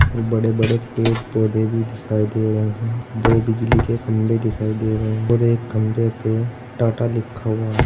बड़े बड़े पेड़ पौधे भी दिखाई दे रहे हैं दो बिजली के खंभे दिखाई दे रहे हैं और एक खंभे पे टाटा लिखा हुआ है।